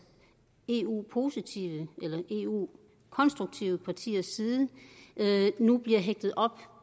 eu positive eller eu konstruktive partiers side nu bliver hægtet op